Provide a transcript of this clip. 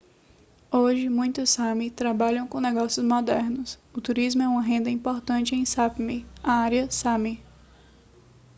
hoje muitos sámi trabalham com negócios modernos o turismo é uma renda importante em sápmi a área sámi